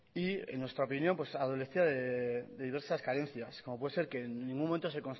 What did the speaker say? y en nuestra opinión adolecía de diversas carencias como puede ser que en ningún momento